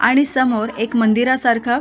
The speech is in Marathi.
आणि समोर एक मंदिरा सारख --